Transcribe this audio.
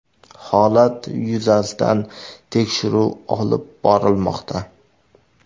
Holat yuzasidan tekshiruv olib borilmoqda.